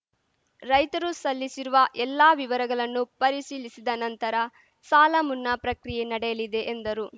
ರೈತರು ಸಲ್ಲಿಸಿರುವ ಎಲ್ಲಾ ವಿವರಗಳನ್ನು ಪರಿಶೀಲಿಸಿದ ನಂತರ ಸಾಲ ಮುನ್ನಾ ಪ್ರಕ್ರಿಯೆ ನಡೆಯಲಿದೆ ಎಂದರು